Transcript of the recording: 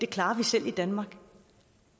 klarer det selv i danmark